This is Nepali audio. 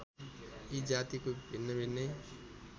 यी जातिको भिन्नाभिन्नै